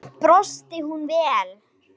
Samt bjóst hún við meiru.